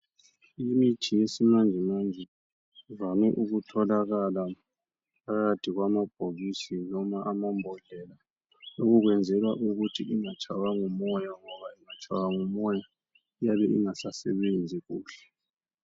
Imithi yesimanjemanje ivame ukutholakala phakathi kwamabhokisi noma amambodlela, lokho kwenzelwa ukuthi ingatshaywa ngumoya ngoba ingatshaywa ngumoya iyabe ingasasebenzi kuhle.